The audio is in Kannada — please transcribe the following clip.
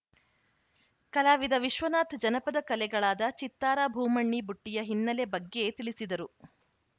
ಕಲಾವಿದ ವಿಶ್ವನಾಥ್‌ ಜನಪದ ಕಲೆಗಳಾದ ಚಿತ್ತಾರ ಭೂಮಣ್ಣಿ ಬುಟ್ಟಿಯ ಹಿನ್ನೆಲೆ ಬಗ್ಗೆ ತಿಳಿಸಿದರು